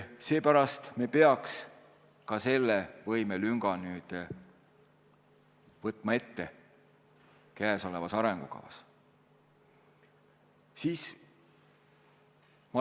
Seepärast me peaks ka selle võimelünga käesolevas arengukavas ette võtma.